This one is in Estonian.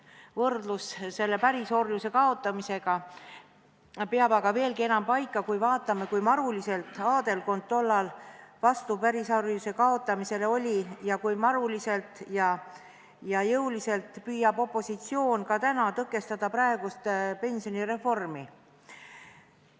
Võrdlus pärisorjuse kaotamisega peab aga veelgi enam paika, kui vaatame, kui maruliselt aadelkond tollal oli pärisorjuse kaotamise vastu ning kui maruliselt ja jõuliselt püüab opositsioon tõkestada praegust pensionireformi.